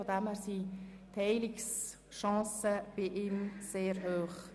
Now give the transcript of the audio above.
Insofern sind seine Heilungschancen sehr gross.